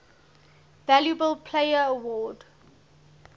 valuable player award